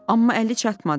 Amma əli çatmadı.